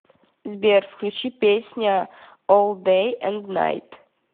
сбер включи песня ол дэй энд найт